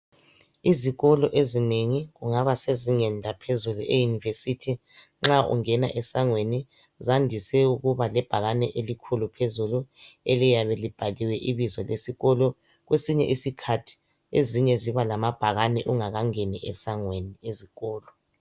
Izikolo ezinengi kungaba sezingeni laphezulu e university nxa ungena esangweni zandise ukuba lebhakane elikhulu phezulu. Eliyabe libhaliwe ibizo lesikolo. Kwesinye isikhathi, ezinye zibalamabhakane ungakangeni esangweni ezikolo.